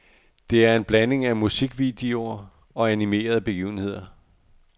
Det er en blanding af musikvideoer og animerede begivenheder.